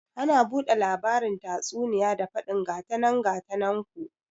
Ana bude labarin tatsuniya da fadin gatanan gatanan ku